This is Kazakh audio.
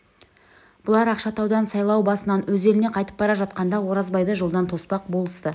бұлар ақшатаудан сайлау басынан өз еліне қайтып бара жатқанда оразбайды жолдан тоспақ болысты